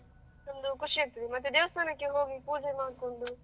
ಒಂದು ಖುಷಿ ಆಗ್ತದೆ, ಮತ್ತೆ ದೇವಸ್ಥಾನಕ್ಕೆ ಹೋಗಿ ಪೂಜೆ ಮಾಡ್ಕೊಂಡು.